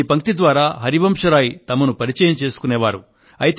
ఈ పంక్తి ద్వారా హరివంశరాయ్ గారు తమను పరిచయం చేసుకునేవారు